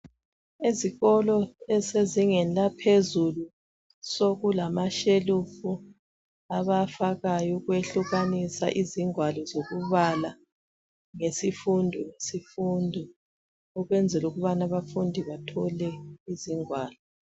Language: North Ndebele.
Ezikolo ezisezingeni laphezulu sokulamashelufu abawafakayo ukwehlukanisa izingwalo zokubala ngesifundo ngesifundo ukwenzala ukubana abafundi bathole izingwalo